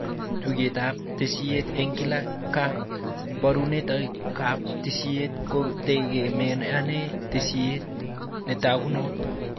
Tugukab tesisyit eng kila ka barunoikab tesisyit kotegemeane tesisyit netagunot